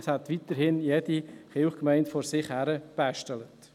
Jede Kirchgemeinde hätte weiterhin vor sich hin gebastelt.